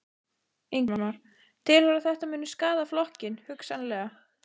Ingimar: Telurðu að þetta muni skaða flokkinn, hugsanlega?